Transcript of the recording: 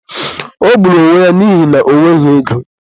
O gburu onwe n'ihina ọ nweghị ego.